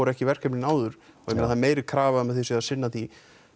ekki verkefnin áður það er meiri krafa um að þið séuð að sinna því